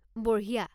বঢ়িয়া!